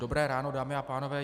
Dobré ráno, dámy a pánové.